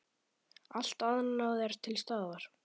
Allt annað er til staðar.